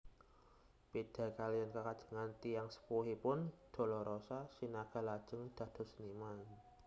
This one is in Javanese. Béda kaliyan kekajengan tiyang sepuhipun Dolorosa Sinaga lajeng dados seniman